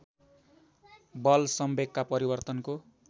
बल संवेगका परिवर्तनको